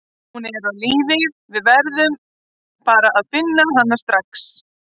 Hún er á lífi, við verðum bara að finna hana strax.